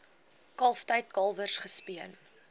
kalftyd kalwers gespeen